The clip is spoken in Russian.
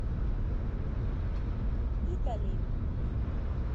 итали